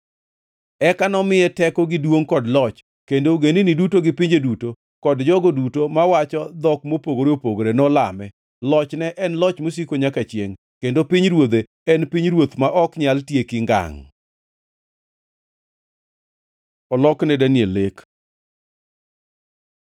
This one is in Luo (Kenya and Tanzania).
Eka nomiye teko gi duongʼ kod loch; kendo ogendini duto gi pinje duto kod jogo duto mawacho dhok mopogore opogore nolame. Lochne en loch mosiko nyaka chiengʼ, kendo pinyruodhe en pinyruoth ma ok nyal tieki ngangʼ. Olok ne Daniel lek